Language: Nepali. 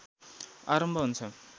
आरम्भ हुन्छ